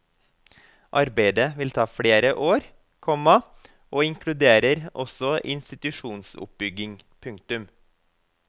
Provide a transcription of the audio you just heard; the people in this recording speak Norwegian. Arbeidet vil ta flere år, komma og inkluderer også institusjonsoppbygging. punktum